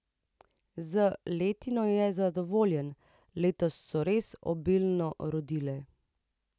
Z letino je zadovoljen: 'Letos so res obilno rodile.